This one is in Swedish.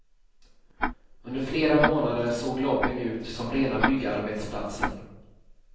Under flera månader såg lobbyn ut som rena byggarbetsplatsen.